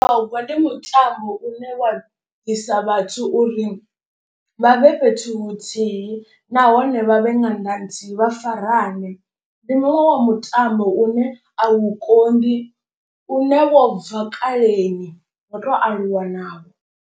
Mutogwa ndi mutambo une wa bvisa vhathu uri vha vhe fhethu huthihi nahone vhavhe nga ṅanga nthihi vha farane. Ndi muṅwe wa mutambo une a u konḓi une wo bva kaleni ro to aluwa nawo.